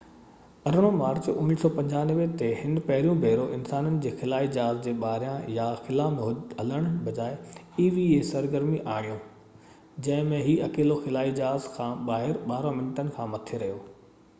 18 March 1995 تي، هن پهريون ڀيرو انسانن جي خلائي جهاز جي ٻاهريان سرگرمي eva يا خلا ۾ هلڻ بجاءِ آڻيو، جنهن ۾ هي اڪيلو خلائي جهاز کان ٻاهر 12 منٽن کان مٿي رهيو